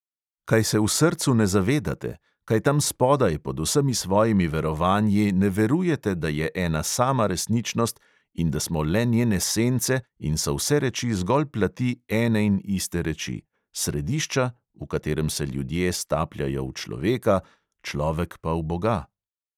Kaj se v srcu ne zavedate, kaj tam spodaj pod vsemi svojimi verovanji ne verujete, da je ena sama resničnost in da smo le njene sence in so vse reči zgolj plati ene in iste reči: središča, v katerem se ljudje stapljajo v človeka, človek pa v boga?